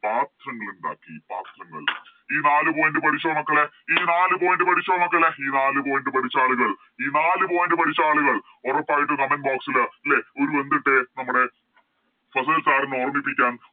പാത്രങ്ങൾ ഉണ്ടാക്കി പാത്രങ്ങൾ ഈ നാല് Point പഠിച്ചോ മക്കളേ ഈ നാല് Point പഠിച്ചോ മക്കളെ ഈ നാല് Point പഠിച്ച ആളുകൾ ഈ നാല് Point പഠിച്ച ആളുകൾ ഉറപ്പായിട്ടും Comment box ല് ഒര് എന്തിട്ടെ നമ്മുടെ ഫസിൽ Sir നെ ഓർമ്മിപ്പിക്കാൻ